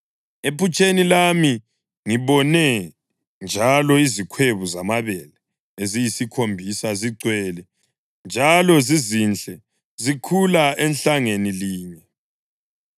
Ephutsheni lami ngibone njalo izikhwebu zamabele eziyisikhombisa, zigcwele, njalo zizinhle zikhula ehlangeni linye.